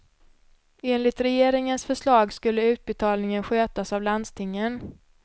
Enligt regeringens förslag skulle utbetalningen skötas av landstingen.